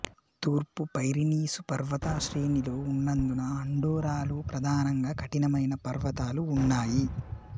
తూర్పు పైరినీసు పర్వత శ్రేణిలో ఉన్నందున అండోరాలో ప్రధానంగా కఠినమైన పర్వతాలు ఉన్నాయి